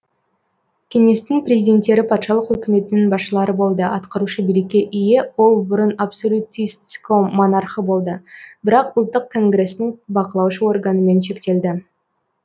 кеңестің президенттері патшалық үкіметінің басшылары болды атқарушы билікке ие ол бұрын абсолютистском монархы болды бірақ ұлттық конгрестің бақылаушы органымен шектелді